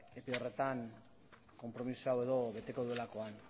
epe horretan konpromisoa hau beteko duelakoan